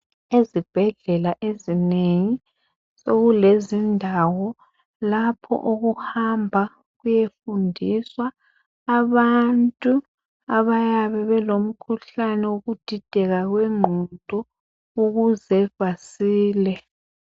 Ezibhedlela ezinengi sokulendawo lapho okuhamba kuyefundiswa abantu abayabe belomkhuhlane wokudideka kwengqondo ukuze basile.